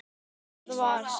Þar við sat.